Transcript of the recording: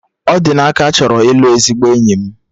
Odinaka chọrọ ịlụ ezigbo enyi m